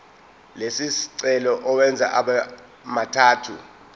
lesicelo uwenze abemathathu